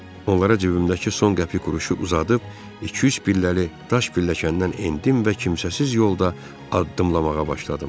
Onlara cibimdəki son qəpik quruşu uzadıb, iki-üç pilləli daş pilləkəndən endim və kimsəsiz yolda addımlamağa başladım.